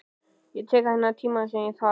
Ég tek þann tíma sem ég þarf.